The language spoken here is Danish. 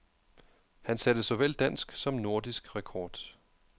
Han satte såvel dansk som nordisk rekord.